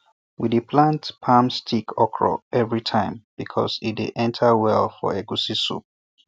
we dey plant palm stick okro every time because e dey enter well for egusi soup